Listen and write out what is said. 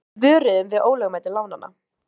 Við vöruðum við ólögmæti lánanna